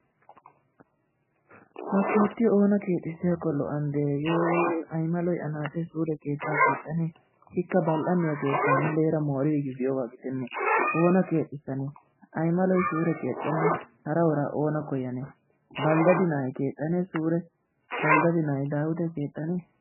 Ha keettiyo oona keexxisiyakko lo'anee? hagee aymaloy anaaxeebsuure kexxanee? Ikka bal'anniyawu keettaa muleera mooriigiis giyogaa gidenne. Oona keexxissanee? Aymaloy suure keexxena hara uraa oona koyyane? Baldadi naa'ay keexxanee suure? Baldadi na'ay daawitee keexxane?